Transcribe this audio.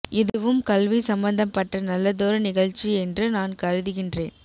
இதுவும் கல்வி சம்பந்தம் பட்ட நல்லதொரு நிகழ்ச்சி என்டு நான் கருதுகின்றேன்